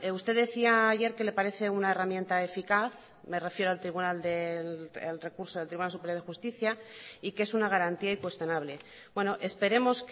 usted decía ayer que le parece una herramienta eficaz me refiero al recurso del tribunal superior de justicia y que es una garantía incuestionable bueno esperemos